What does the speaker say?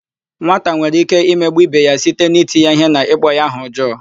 Nwata nwere íké imegbu íbé ya site n'iti ya íhé na ịkpọ ya aha ọjọọ.